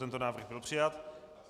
Tento návrh byl přijat.